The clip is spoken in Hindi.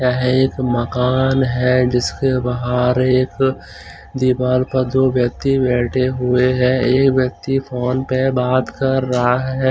यह एक मकान है जिसके बाहर एक दीवाल पर दो व्यक्ति बैठे हुए हैं एक व्यक्ति फोन पे बात कर रहा है।